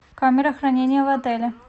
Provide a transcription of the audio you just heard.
камера хранения в отеле